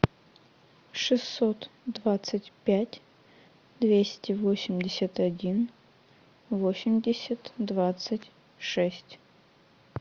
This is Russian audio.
шестьсот двадцать пять двести восемьдесят один восемьдесят двадцать шесть